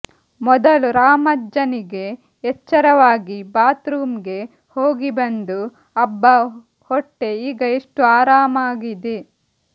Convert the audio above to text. ಮೊದಲು ರಾಮಜ್ಜನಿಗೆ ಎಚ್ಚರವಾಗಿ ಬಾತ್ ರೂಮ್ ಗೆ ಹೋಗಿ ಬಂದು ಅಬ್ಬ ಹೊಟ್ಟೆೆ ಈಗ ಎಷ್ಟು ಆರಾಮಾಗಿದೆ